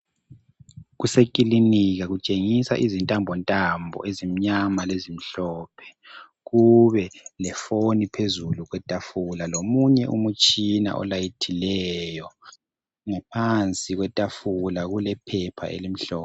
Kusekilinika kutshengisa izintambontambo ezimyama lezimhlophe. Kube lefoni phezulu kwetafula, lomunye umutshina olayithileyo. Ngaphansi kwetafula kulephepha elimhlophe.